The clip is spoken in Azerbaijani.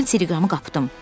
Mən teleqramı qapdım.